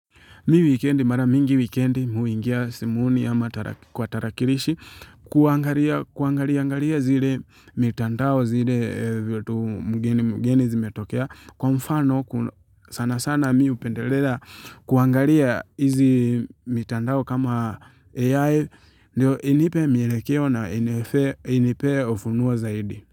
Mi wikendi mara mingi wikendi mi huingia simuni ama kwa tarakilishi kuangaria zile mitandao zile mgeni zimetokea. Kwa mfano sana sana mi upendelela kuangalia hizi mitandao kama AI inipe mielekeo na inipe ufunuo zaidi.